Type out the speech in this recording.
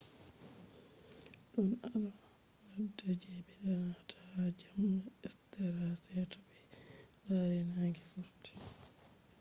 don al’ada je be danata ha jemma easter ha seto be lari nange vurti